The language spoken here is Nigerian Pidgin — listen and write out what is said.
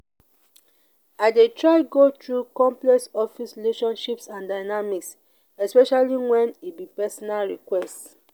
i dey try go through complex office relationships and dynamics especially wen e be personal request.